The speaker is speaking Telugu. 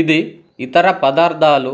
ఇది ఇతర పదార్థాలు